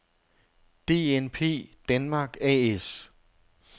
DNP denmark A/S